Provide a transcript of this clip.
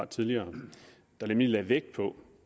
tidligere der nemlig lagde vægt på